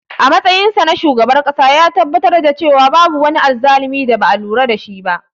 A matsayinsa na shugaban ƙasa, ya tabbatar da cewa babu wani azzalumi da ba a lura da shi ba.